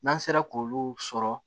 N'an sera k'olu sɔrɔ